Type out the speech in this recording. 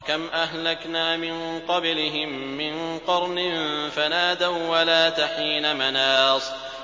كَمْ أَهْلَكْنَا مِن قَبْلِهِم مِّن قَرْنٍ فَنَادَوا وَّلَاتَ حِينَ مَنَاصٍ